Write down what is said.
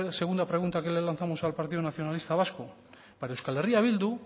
segunda pregunta que le lanzamos al partido nacionalista vasco para euskal herria bildu